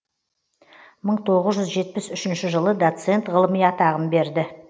мың тоғыз жүз жетпіс үшінші жылы доцент ғылыми атағын берді